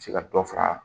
Se ka dɔ fara